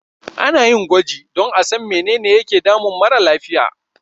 Ana yin gwaji don a san menene yake damun mara lafiya.